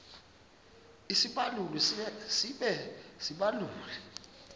isibaluli sibe sisibaluli